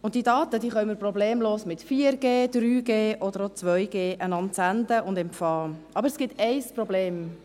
und diese Daten können wir problemlos mit 4G, 3G oder auch 2G senden und empfangen, aber es gibt ein Problem: